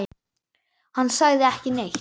Hann sagði ekki neitt.